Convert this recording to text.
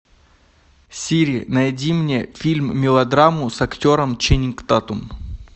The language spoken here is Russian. сири найди мне фильм мелодраму с актером ченнинг татум